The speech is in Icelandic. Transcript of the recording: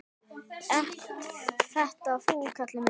Ert þetta þú, Kalli minn!